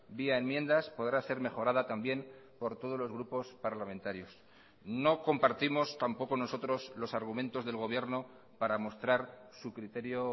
vía enmiendas podrá ser mejorada también por todos los grupos parlamentarios no compartimos tampoco nosotros los argumentos del gobierno para mostrar su criterio